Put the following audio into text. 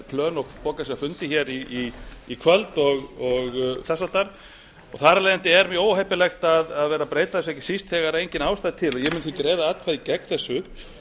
plön og fundi í kvöld og þess háttar og þar af leiðandi er mjög óheppilegt að vera að breyta þessu og ekki síst þegar engin ástæða er til ég mun því greiða atkvæði gegn þessu